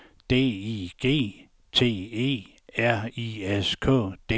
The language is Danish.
D I G T E R I S K